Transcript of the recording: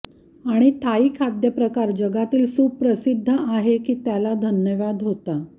आणि थाई खाद्यप्रकार जगातील सुप्रसिद्ध आहे की त्याला धन्यवाद होता